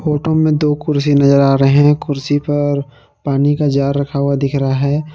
Photo में दो कुर्सी नजर आ रहे हैं कुर्सी पर पानी का जार रखा हुआ दिख रहा है।